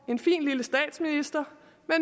en fin lille statsminister